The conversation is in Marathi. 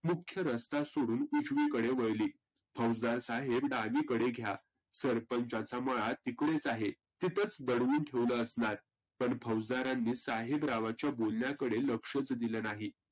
मुख्य रस्ता सोडून उजविकडे वळली. फौजदार साहेब डावीकडे घ्या सरपंचाचा मळा तीकडेच आहे. तीथंच दडवून ठेवलं असणार. पण फौजदाराने साहेबरावांच्या बोलण्याकडं लक्षच दिलं नाही